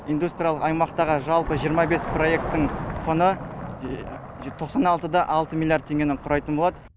индустриялық аймақтағы жалпы жиырма бес проектінің құны тоқсан алты да алты миллиард теңгені құрайтын болады